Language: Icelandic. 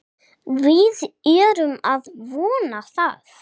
Við erum að vona það.